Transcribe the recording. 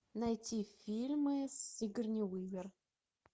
найти фильмы с сигурни уивер